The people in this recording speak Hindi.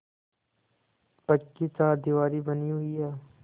पक्की चारदीवारी बनी हुई है